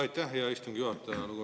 Aitäh, hea istungi juhataja!